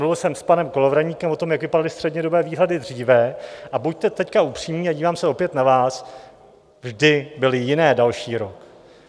Mluvil jsem s panem Kolovratníkem o tom, jak vypadaly střednědobé výhledy dříve, a buďte teď upřímní, a dívám se opět na vás, vždy byly jiné další rok.